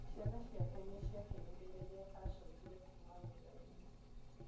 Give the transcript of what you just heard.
Ciana ciake nĩ ciakenire rĩrĩa aacokire kuuma wĩra-inĩ.